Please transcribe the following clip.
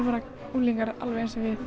unglingar alveg eins og við